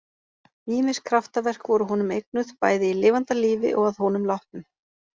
Ýmis kraftaverk voru honum eignuð, bæði í lifanda lífi og að honum látnum.